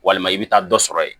Walima i bɛ taa dɔ sɔrɔ yen